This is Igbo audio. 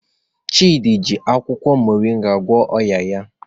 Chidi ji akwukwo moringa gwọọ ọnya ya.